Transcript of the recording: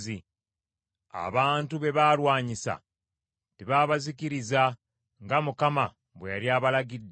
Abantu be baalwanyisa tebaabazikiriza nga Mukama bwe yali abalagidde,